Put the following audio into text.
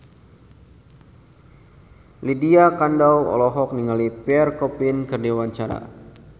Lydia Kandou olohok ningali Pierre Coffin keur diwawancara